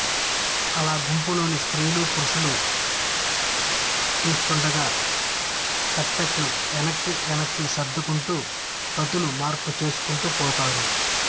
అలా గుంపులోని స్త్రీ పురుషులు చూస్తుండగా తప్పెట్లు వెనక్కి వెనక్కి సర్దుకుంటూ గతులు మార్పు చేసుకుంటూ పోతారు